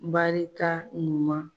Barika ɲuman.